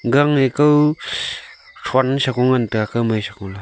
gang nge kow thron shego ngan taiga kawmai shego la.